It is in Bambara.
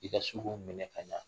I ka se k'iu minɛ ka ɲan.